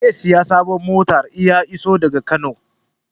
Zai saya sabon mota in ya iso daga Kano